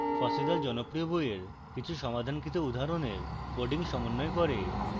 fossee the জনপ্রিয় বইয়ের কিছু সমাধানকৃত উদাহরণের coding সমন্বয় করে